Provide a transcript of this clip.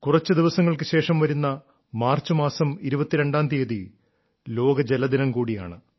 കുറച്ചു ദിവസങ്ങൾക്കുശേഷം വരുന്ന മാർച്ചുമാസം 22ാം തീയതി ലോക ജലദിനം കൂടിയാണ്